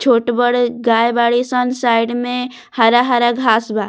छोट-बड़ गाय बाड़ी सन साइड में हरा-हरा घास बा।